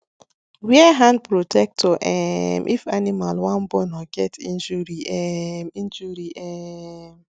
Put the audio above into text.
wear hand protector um if animal wan born or get injury um injury um